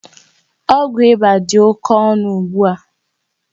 Ọgwụ ịba dị oké ọnụ ugbua